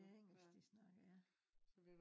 Det engelsk de snakker ja